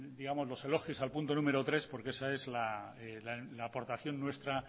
digamos los elogios al punto número tres porque esa es la aportación nuestra a